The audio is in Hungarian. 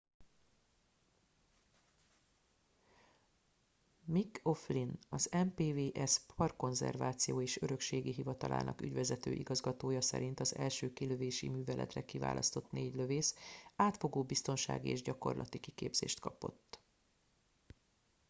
mick o'flynn az npws parkkonzerváció és örökségi hivatalának ügyvezető igazgatója szerint az első kilövési műveletre kiválasztott négy lövész átfogó biztonsági és gyakorlati kiképzést kapott